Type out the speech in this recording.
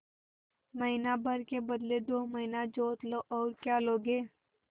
महीना भर के बदले दो महीना जोत लो और क्या लोगे